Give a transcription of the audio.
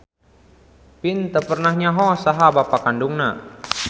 Vin teu pernah nyaho saha bapa kandungna.